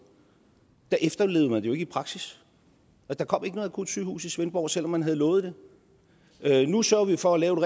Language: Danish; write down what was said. efterlevede man det jo ikke i praksis der kom ikke noget akutsygehus i svendborg selv om man havde lovet det nu sørger vi for at lave